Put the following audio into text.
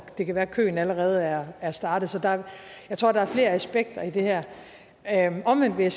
det kan være at køen allerede er er startet så jeg tror der er flere aspekter i det her her omvendt vil